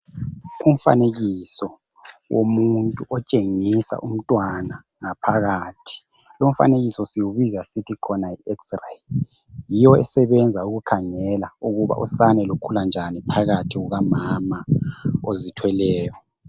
Umfanekiso womuntu otshengisa umntwana ngaphakathi lu mfanekiso siwubiza sithi khona yi x-ray yiyo esebenza ukukhangela ukubana usane lukhula njani phakathi kukamama ozithweleyo.